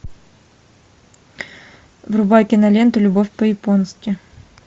врубай киноленту любовь по японски